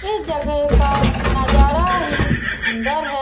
ये जगह का नजारा ही सुंदर है।